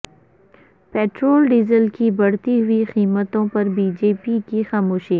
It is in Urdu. پٹرول ڈیزل کی بڑھتی ہوئی قیمتوں پر بی جے پی کی خاموشی